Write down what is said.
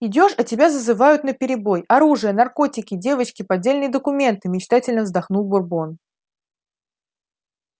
идёшь а тебя зазывают наперебой оружие наркотики девочки поддельные документы мечтательно вздохнул бурбон